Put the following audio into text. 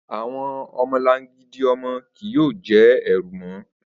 Awọn ọmọlangidi ọmọ kii yoo jẹ ẹru mọ